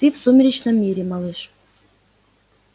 ты в сумеречном мире малыш